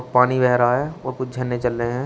पानी बह रहा है और कुछ झरने चल रहे हैं।